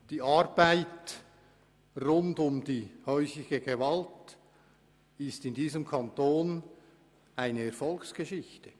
Die Arbeit rund um häusliche Gewalt ist in unserem Kanton eine Erfolgsgeschichte.